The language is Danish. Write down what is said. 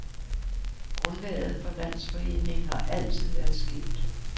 Grundlaget for landsforeningen har altid været skævt.